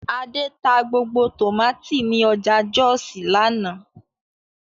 Adé ta gbogbo tòmátì ní ọjà Jọ́òsì lánàá